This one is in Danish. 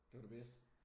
Det var det bedste?